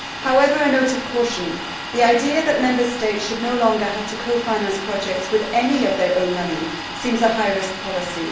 However, a note of caution the idea that Member States should no longer have to cofinance projects with any of their own money seems a high risk policy.